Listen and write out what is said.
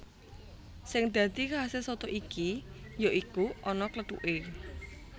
Sing dadi khase soto iki ya iku ana klêthuké